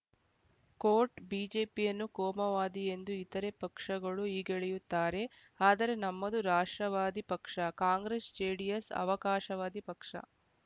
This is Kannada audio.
ಕೋಟ್ ಬಿಜೆಪಿಯನ್ನು ಕೋಮುವಾದಿ ಎಂದು ಇತರೆ ಪಕ್ಷಗಳು ಹೀಗೆಳೆಯುತ್ತಾರೆ ಆದರೆ ನಮ್ಮದು ರಾಷ್ಟ್ರವಾದಿ ಪಕ್ಷ ಕಾಂಗ್ರೆಸ್‌ಜೆಡಿಎಸ್‌ ಅವಕಾಶವಾದಿ ಪಕ್ಷ